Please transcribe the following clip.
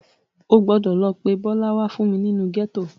O gbọdọ̀ lọ pé Bọ́lá wá fún mi nínú gẹ́tò.